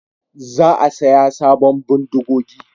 Za a saya sabon bindigogi